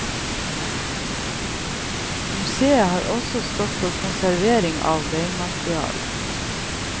Museet har også stått for konservering av beinmaterialet.